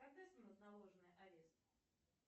когда снимут наложенный арест